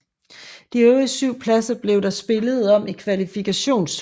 De øvrige syv pladser blev der spillet om i kvalifikationsturneringen